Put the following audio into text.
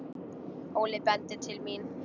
Óli bendir til mín.